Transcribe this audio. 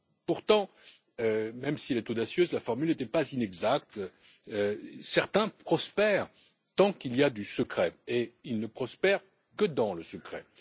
Pourtant, même si elle est audacieuse, la formule n'était pas inexacte certains prospèrent tant qu'il y a du secret et ne prospèrent que dans le secret.